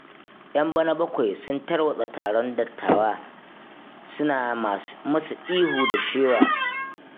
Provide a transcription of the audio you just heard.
Yan bana-bakwai sun tarwatsa taron dattawan, suna masu ihu da shewa.